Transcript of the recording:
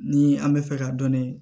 Ni an bɛ fɛ ka dɔnni